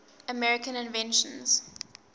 american inventions